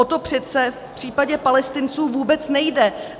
O to přece v případě Palestinců vůbec nejde.